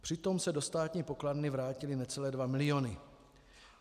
Přitom se do státní pokladny vrátily necelé 2 miliony.